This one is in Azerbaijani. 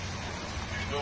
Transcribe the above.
Bircə dəqiqə.